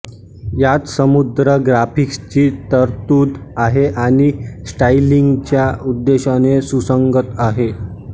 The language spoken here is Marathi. यात समृद्ध ग्राफिक्सची तरतूद आहे आणि स्टाईलिंगच्या उद्देशाने सुसंगत आहे